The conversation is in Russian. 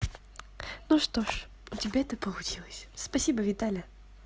ну что ж у тебя это получилось спасибо виталя